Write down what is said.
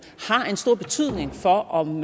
har en stor betydning for om